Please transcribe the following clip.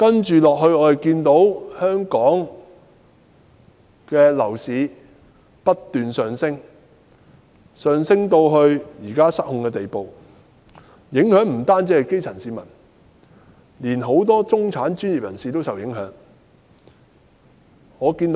接下來，香港的樓市不斷上升至現時失控的地步，受影響的不單是基層市民，連很多中產和專業人士也受影響。